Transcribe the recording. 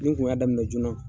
Ni n kun y'a daminɛ joona